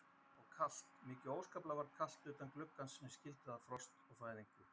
Og kalt, mikið óskaplega var kalt utan gluggans sem skildi að frost og fæðingu.